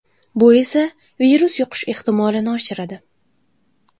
Bu esa virus yuqishi ehtimolini oshiradi.